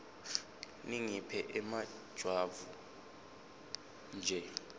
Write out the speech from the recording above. ningiphe emajwabu nje